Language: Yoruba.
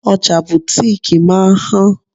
Ọjà butiiki máa ń han.